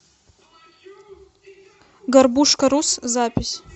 горбушкарус запись